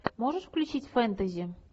можешь включить фэнтези